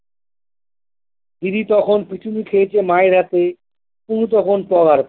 দিদি তখন পিটুনি খেয়েছে মায়ের হাতে পুলু তখন পগার পার।